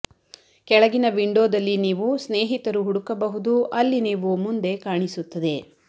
ಕೆಳಗಿನ ವಿಂಡೋದಲ್ಲಿ ನೀವು ಸ್ನೇಹಿತರು ಹುಡುಕಬಹುದು ಅಲ್ಲಿ ನೀವು ಮುಂದೆ ಕಾಣಿಸುತ್ತದೆ